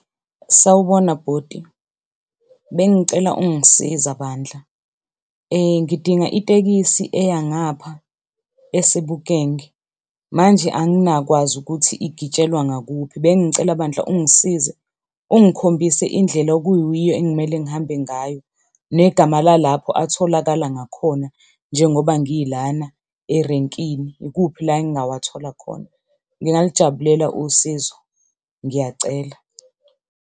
Sawubona bhuti, bengicela ungisiza bandla ngidinga itekisthi eya ngapha eSebokeng manje anginakwazi ukuthi igitshelwa ngakuphi. Bengicela bandla ungisize ungikhombise indlela okuyiyo engimele ngihambe ngayo, negama lalapho atholakala ngakhona njengoba ngilana erenkini, ikuphi la engingawathola khona? Ngingalijabulela usizo. Ngiyacela.